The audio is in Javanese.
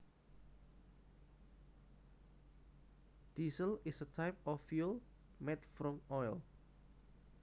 Diesel is a type of fuel made from oil